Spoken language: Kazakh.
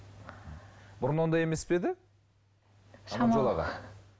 бұрын ондай емес пе еді